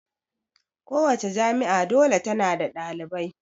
Kowace jami'a dole ta na da ɗalibai